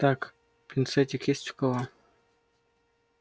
так пинцетик есть у кого